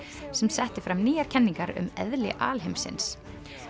sem setti fram nýjar kenningar um eðli alheimsins